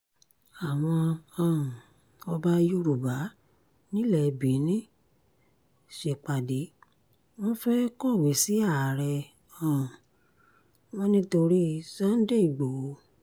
àwọn um ọba yorùbá nílẹ̀ benin ṣèpàdé wọn fẹ́ẹ́ kọ̀wé sí ààrẹ um wọn nítorí sunday igbohò